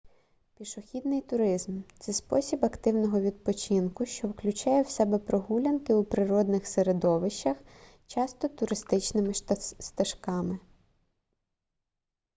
пішохідний туризм це спосіб активного відпочинку що включає в себе прогулянки у природних середовищах часто туристичними стежками